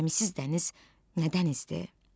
Gəmisiz dəniz nə dənizdir?